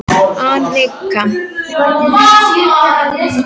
Anika, stilltu niðurteljara á sjötíu og fjórar mínútur.